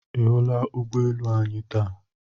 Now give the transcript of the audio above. Ị hụla ụgbọ elu anyị taa?